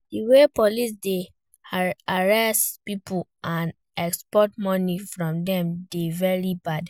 Di way police dey harass people and extort money from dem dey very bad.